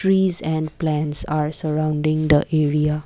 trees and plants are surrounding the area.